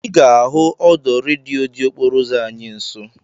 Ị ga-ahụ ahụ ọdọ redio dị okporo ụzọ anyị nsọ